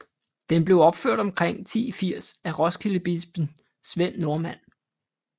Den blev opført omkring 1080 af Roskildebispen Svend Nordmand